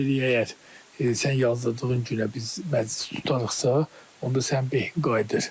Deyirik əgər sən yazdırdığın günə biz məclis tutarıqsa, onda sənin behin qayıdır.